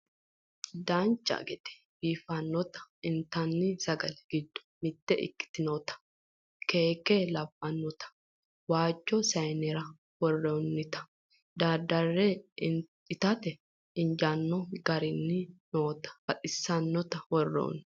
dancha gede biiffannota intanni sagale giddo mitte ikkitinota keeke labbannota waajjo sayiinera worroonnita daddarre itate injaano garinni noota baxissannota worroonni